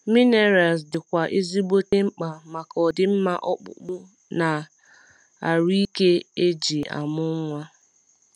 Minerals di kwa ezigbote mkpa maka ọdimma ọkpụkpụ na arụ ike eji amụ nwa